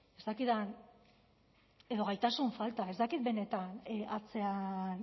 ez dakit den edo gaitasun falta ez dakit benetan atzean